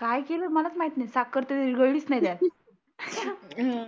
काय केलं मलाच माहित नाही. साखर तर विरघळलीच नाही त्याच्यात. हम्म